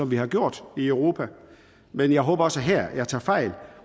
vi har gjort i europa men jeg håber også her at jeg tager fejl